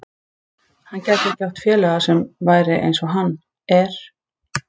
Hann gæti ekki átt félaga sem væri eins og hann er.